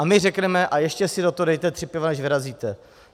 A my řekneme "a ještě si do toho dejte tři piva, než vyrazíte".